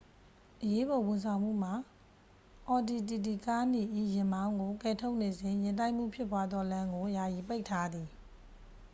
အရေးပေါ်ဝန်ဆောင်မှုမှ အော်ဒီတီတီကားနီ၏ ယာဉ်မောင်းကို ကယ်ထုတ်နေစဉ် ယာဉ်တိုက်မှုဖြစ်ပွားသော လမ်းကို ယာယီပိတ်ထားသည်